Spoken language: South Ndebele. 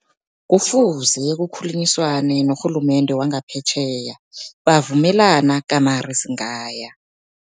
Kufuze kukhulunyiswane norhulumende wangaphetjheya, bavumelana gamare singaya.